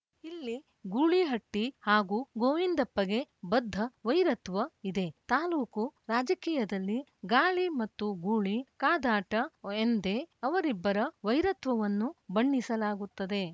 ಇಲ್ಲಿ ಗೂಳಿಹಟ್ಟಿಹಾಗೂ ಗೋವಿಂದಪ್ಪಗೆ ಬದ್ದ ವೈರತ್ವ ಇದೆ ತಾಲೂಕು ರಾಜಕೀಯದಲ್ಲಿ ಗಾಳಿ ಮತ್ತು ಗೂಳಿ ಕಾದಾಟ ಎಂದೇ ಅವರಿಬ್ಬರ ವೈರತ್ವವನ್ನು ಬಣ್ಣಿಸಲಾಗುತ್ತದೆ